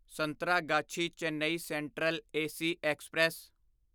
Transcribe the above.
Santragachi Chennai central AC express